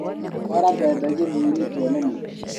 Twara mbembe gĩthĩinĩ tuone mũtu.